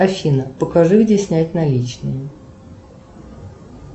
афина покажи где снять наличные